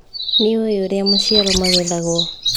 Nĩũĩ ũrĩa maciaro magethagwo.